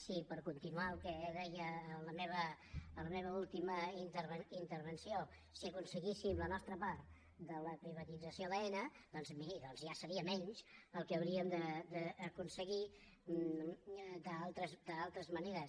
si per continuar el que deia a la meva última intervenció si aconseguíssim la nostra part de la privatització d’aena doncs miri ja seria menys el que hauríem d’aconseguir d’altres maneres